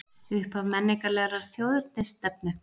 Upphaf menningarlegrar þjóðernisstefnu